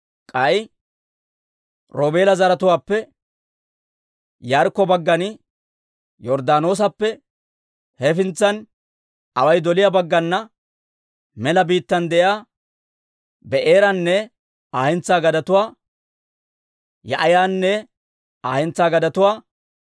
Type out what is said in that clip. K'ay Roobeela zaratuwaappe Yaarikko baggan, Yorddaanoosappe hefintsan away doliyaa baggana, mela biittaan de'iyaa Bee'eranne Aa hentsaa gadetuwaa, Yaahi'anne Aa hentsaa gadetuwaa,